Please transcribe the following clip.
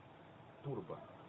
турбо